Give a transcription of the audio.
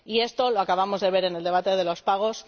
Y esto lo acabamos de ver en el debate de los pagos